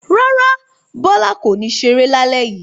Rárá, Bọ́lá kò ní ṣeré lálẹ́ yìí.